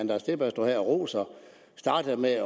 og roser startede med at